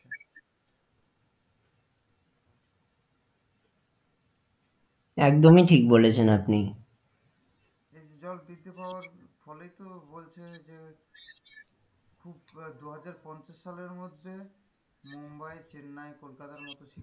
একদমই ঠিক বলেছেন আপনি এতে জল বৃদ্ধি পাওয়ার ফলেই তো বলছে যে দুহাজার পঞ্চাশ সালের মধ্যে মুম্বাই, চেন্নাই, কলকাতার মধ্যে,